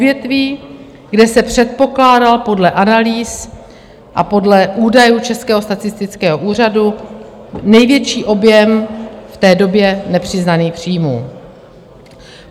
Odvětví, kde se předpokládal podle analýz a podle údajů Českého statistického úřadu největší objem v té době nepřiznaných příjmů.